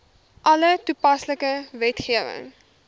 alle toepaslike wetgewing